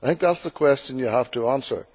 I think that is the question you have to answer.